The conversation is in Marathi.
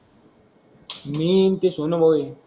मी आन ते सोनू भाऊ आहे.